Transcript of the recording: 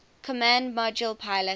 command module pilot